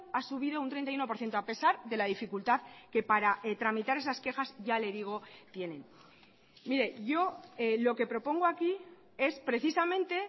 ha subido un treinta y uno por ciento a pesar de la dificultad que para tramitar esas quejas ya le digo tienen mire yo lo que propongo aquí es precisamente